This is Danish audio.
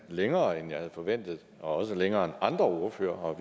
længere end jeg havde forventet og også længere end andre ordførere og